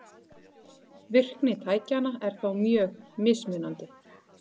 Virkni tækjanna er þó mjög mismunandi.